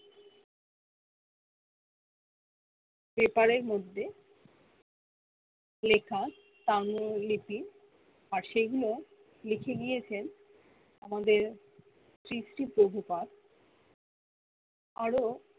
paper এর মধ্যে লেখা তাগ্য লিপি আর সেগুলো লিখে নিয়েছেন আমাদের শ্রী শ্রী পগুপাদ আরো